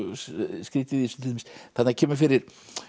skrýtið í þessu þarna kemur fyrir